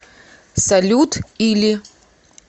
салют или